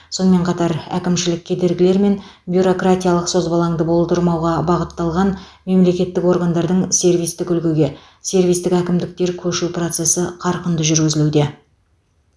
сонымен қатар әкімшілік кедергілер мен бюракратиялық созбалаңды болдырмауға бағытталған мемлекеттік органдардың сервистік үлгіге сервистік әкімдіктер көшу процесі қарқынды жүргізілуде